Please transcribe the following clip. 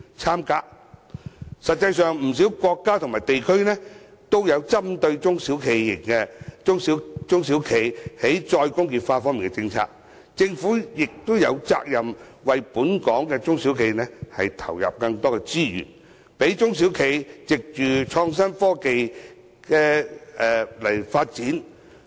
事實上，不少國家和地區均有針對中小企"再工業化"的政策，政府有責任為本港的中小企投入更多資源，讓中小企藉創新科技進行發展。